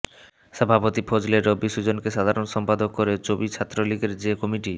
সভাপতি ও ফজলে রাব্বী সুজনকে সাধারণ সম্পাদক করে চবি ছাত্রলীগের যে কমিটি